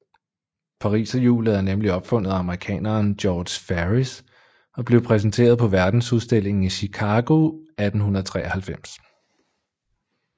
Pariserhjuset er nemlig opfundet af amerikaneren George Ferris og blev præsenteret på Verdensudstillingen i Chicago 1893